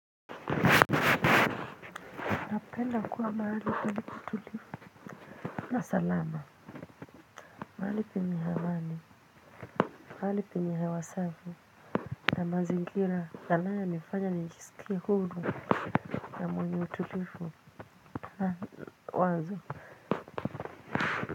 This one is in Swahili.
Napenda kuwa mahali palipo tulivu na salama. Mahali penye hemani. Mahali penye hewa safi na mazingira yanayo nifanya nijisiki hulu na mwenye utulivu. Haa wazo.